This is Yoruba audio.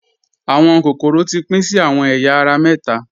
Awọn kokoro ti pin sí awọn èya ara méta.